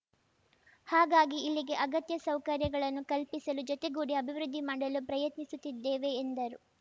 ಹಾಗಾಗಿ ಇಲ್ಲಿಗೆ ಅಗತ್ಯ ಸೌಕರ್ಯಗಳನ್ನು ಕಲ್ಪಿಸಲು ಜೊತೆಗೂಡಿ ಅಭಿವೃದ್ಧಿ ಮಾಡಲು ಪ್ರಯತ್ನಿಸುತ್ತಿದ್ದೇವೆ ಎಂದರು